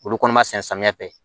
Olu kɔni ma sɛnɛ samiyɛ fɛ